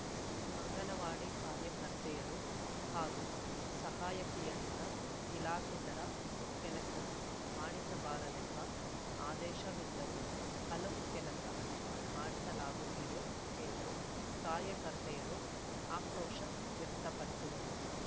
ಅಂಗನವಾಡಿ ಕಾರ್ಯಕರ್ತೆಯರು ಹಾಗೂ ಸಹಾಯಕಿಯರಿಂದ ಇಲಾಖೇತರ ಕೆಲಸ ಮಾಡಿಸಬಾರದೆಂಬ ಆದೇಶವಿದ್ದರೂ ಹಲವು ಕೆಲಸ ಮಾಡಿಸಲಾಗುತ್ತಿದೆ ಎಂದು ಕಾರ್ಯಕರ್ತೆಯರು ಆಕ್ರೋಶ ವ್ಯಕ್ತಪಡಿಸಿದರು